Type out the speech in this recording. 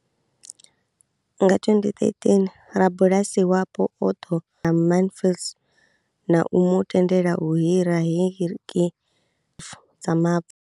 Nga 2013, rabulasi wapo o ḓo Mansfield na u mu tendela u hira heki dza mavu.